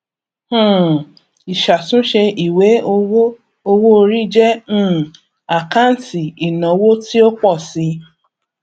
um ìṣàtúnṣe ìwé owó owóorí jẹ um àkáǹtì ìnáwó tí ó pọ si